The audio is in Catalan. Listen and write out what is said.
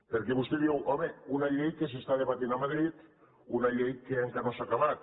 perquè vostè diu home una llei que s’està debatent a madrid una llei que encara no s’ha acabat